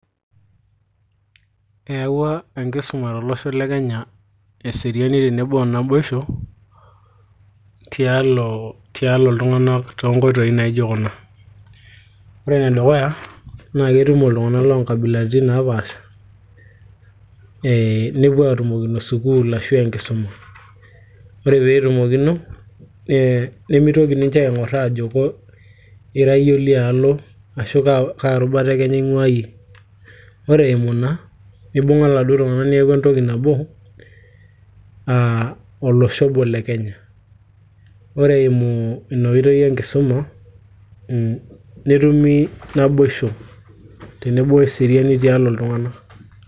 eyawua enkisuma tolosho le kenya eseriani tenebo o naboisho tialo, tialo iltung'anak toonkoitoi naijo kuna ore enedukuya naa ketumo iltung'anak loonkabilaritin naapasha ee nepuo atumokino sukuul ashu enkisuma ore peetumokino nemitoki ninche aing'orr ajo ira yie olialo ashu kaa rubata e kenya ing'ua iyie ore eimu ina nibung'a iladuo tung'anak neeku entoki nabo uh olosho obo le kenya ore eimu ina oitoi enkisuma netumi naboisho tenebo weseriani tialo iltung'anak.